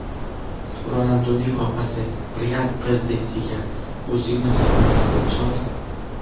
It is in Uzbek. Ronalduning opasi "Real" prezidentiga: "O‘zingni hurmat qil, chol.